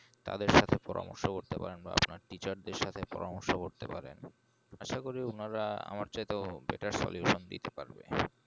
তাদের সাথে পরামর্শ করেতে পারেন বা আপনার teacher এর সাথে পরামর্শ করতে পারেন আশা করি উনারা আমার চাইতেও better solution দিতে পারবেন